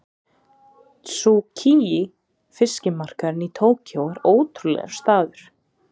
Tsukiji fiskmarkaðurinn í Tókýó er ótrúlegur staður.